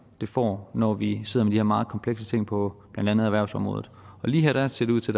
det får når vi sidder med de her meget komplekse ting på blandt andet erhvervsområdet lige her ser det ud til